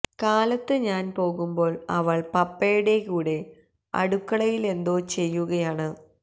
കാലത്ത് ഞാൻ പോകുമ്പോൾ അവൾ പപ്പയുടെ കൂടെ അടുക്കളയിലെന്തോ ചെയ്യുകയാണ്